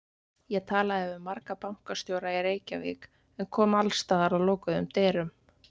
Ég talaði við marga bankastjóra í Reykjavík en kom alls staðar að lokuðum dyrum.